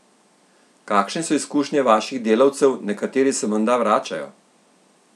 Kakšne so izkušnje vaših delavcev, nekateri se menda vračajo?